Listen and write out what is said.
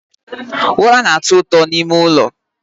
Ụra na-atọ ụtọ n'ime ụlọ